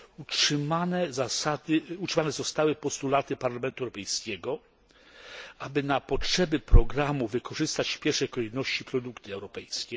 Utrzymane zostały postulaty Parlamentu Europejskiego, aby na potrzeby programu wykorzystać w pierwszej kolejności produkty europejskie.